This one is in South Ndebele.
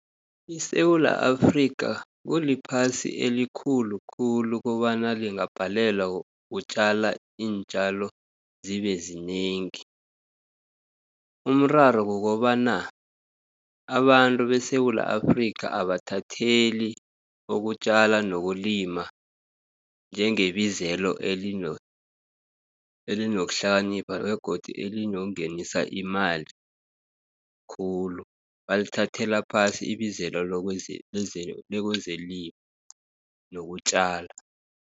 ISewula Afrika kuliphasi elikhulukhulu, kobana lingabhalelwa ukutjala iintjalo zibezinengi. Umraro kukobana abantu beSewula Afrika abathatheli ukutjala nokulima, njengebizelo elinokuhlakanipha, begodu elinongenisa imali khulu, balithathela phasi ibizelo lekwezelimo nokutjala.